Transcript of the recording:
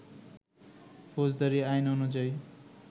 ফৌজাদারি আইন অনুযায়ী